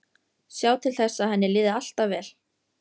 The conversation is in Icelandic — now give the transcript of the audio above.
Sjá til þess að henni liði alltaf vel.